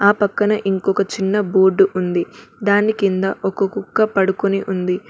ఆ పక్కన ఇంకొక చిన్న బోర్డు ఉంది దాని కింద ఒక కుక్క పడుకుని ఉంది.